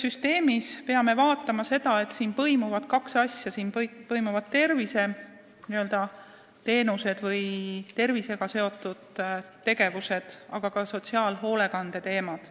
Me peame kindlasti vaatama, et selles süsteemis põimuvad kaks asja: terviseteenused või tervisega seotud tegevused ja sotsiaalhoolekande teemad.